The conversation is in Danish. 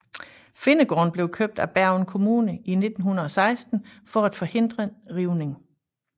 Finnegården blev købt af Bergen kommune i 1916 for at forhindre rivning